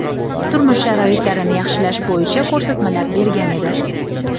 turmush sharoitlarini yaxshilash bo‘yicha ko‘rsatmalar bergan edi.